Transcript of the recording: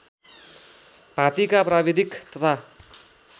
भाँतीका प्राविधिक तथा